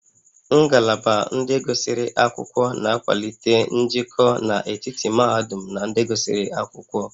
Ngalaba ndị gụsịrị akwụkwọ na-akwalite njikọ n'etiti mahadum na ndị gụsịrị akwụkwọ